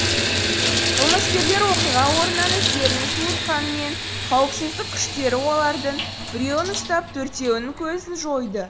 қылмыскерлер оқиға орнынан іздерін суытқанымен қауіпсіздік күштері олардың біреуін ұстап төртеуінің көзін жойды